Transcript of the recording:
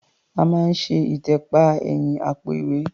A máa ń ṣe ìtẹ̀pa ẹ̀yìn àpò-ìwẹ́.